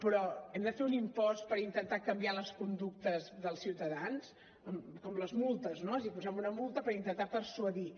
però hem de fer un impost per intentar canviar les conductes dels ciutadans com les multes no és a dir posem una multa per intentar persuadir